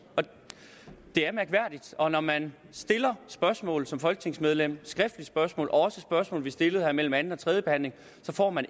det er mærkværdigt og når man stiller spørgsmål som folketingsmedlem skriftlige spørgsmål og også spørgsmål vi har stillet her mellem anden og tredje behandling så får man